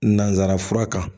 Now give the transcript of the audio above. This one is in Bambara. Nanzara fura kan